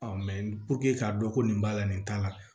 k'a dɔn ko nin b'a la nin t'a la